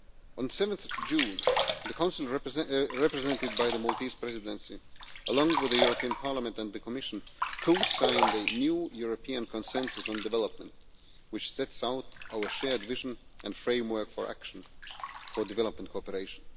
On 7 June, the Council, represented by the Maltese Presidency, along with the European Parliament and the Commission, co signed a new European consensus on development, which sets out our shared vision and framework for action for development cooperation.